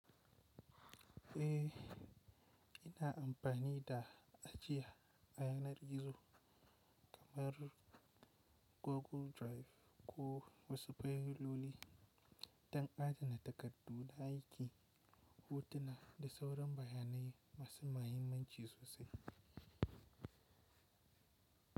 Ehh, ina amfani da ajiya a yanar gizo kamar Google Drive ko wasu filoli don adana takardu na aiki, hotuna da sauran bayanai masu mahimmanci sosai.